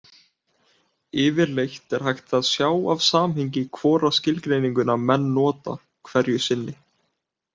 Yfirleitt er hægt að sjá af samhengi hvora skilgreininguna menn nota hverju sinni.